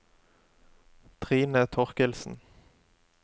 Trine Thorkildsen